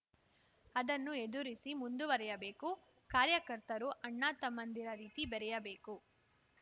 ಅದನ್ನು ಎದುರಿಸಿ ಮುಂದುವರಿಯಬೇಕು ಕಾರ್ಯಕರ್ತರು ಅಣ್ಣ ತಮ್ಮಂದಿರ ರೀತಿ ಬೆರೆಯಬೇಕು